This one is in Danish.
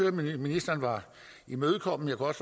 at ministeren var imødekommende og